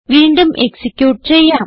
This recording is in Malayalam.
വീണ്ടും എക്സിക്യൂട്ട് ചെയ്യാം